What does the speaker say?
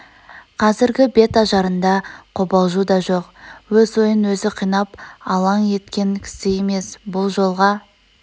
қазргі бет ажарында қобалжу да жоқ өз ойын өзі қинап алаң еткен кісі емес бұл жолға